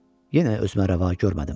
Yenə özümə rəva görmədim.